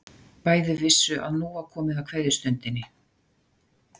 Bæði vissu að nú var komið að kveðjustundinni.